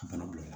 Bana bila